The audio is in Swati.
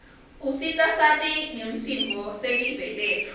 usita sati ngsimo selive letfu